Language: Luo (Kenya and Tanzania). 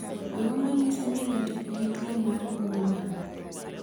Ang’o ma nyiso ni ng’ato nigi tuwo mar Moerman?